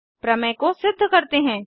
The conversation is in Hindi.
प्रमेय को सिद्ध करते हैं